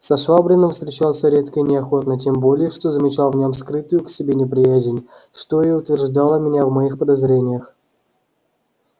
со швабриным встречался редко и неохотно тем более что замечал в нем скрытую к себе неприязнь что и утверждало меня в моих подозрениях